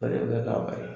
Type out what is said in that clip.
O de bɛ kɛ k'a bari